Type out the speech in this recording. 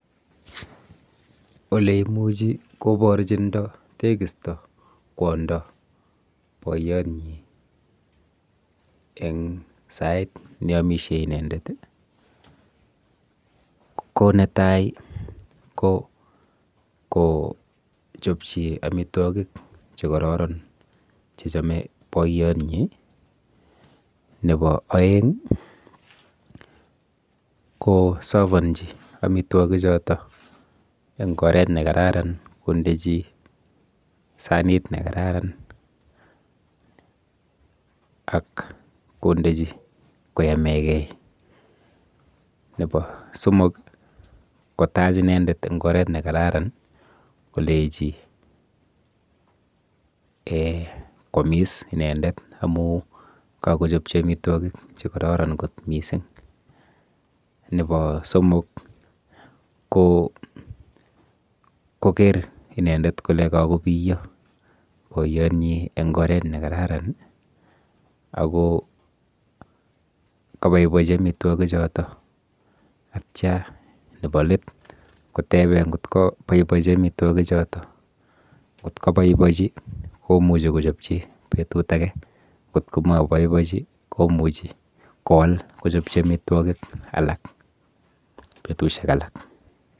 Oleimuchi koporchindo tekisto kwondo boiyonyi eng sait neamishe inendet ko netai ko kochopchi amitwokik chekororon chechome boiyonyi. Nepo oeng kosovonji amitwokichoto eng oret nekararan kondechi sanit nekararan ak kondechi koyamegei. Nepo somok kotach inendet eng oret nekararan kolechi um kwomis amu kakochopchi amitwokik chekororon kot mising. Nepo somok ko koker inendet kole kakopiyo boiyonyi eng oret nekararan ako kaboibochi amitwokichoto atya nepo let kotebe nkot kaboibochi amitwokichoto nkot kaboibochi komuchi kochopchi betut ake nkot ko maboibochi komuchi kowal kochopchi amitwokik alak betushek alak.